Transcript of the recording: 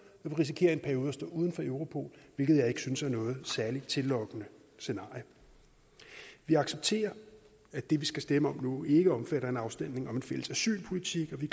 vi risikerer i en periode at stå uden for europol hvilket jeg ikke synes er noget særlig tillokkende scenarie vi vi accepterer at det vi skal stemme om nu ikke omfatter en afstemning om en fælles asylpolitik og vi